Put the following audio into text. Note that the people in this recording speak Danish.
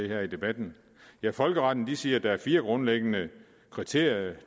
her i debatten folkeretten siger at der er fire grundlæggende kriterier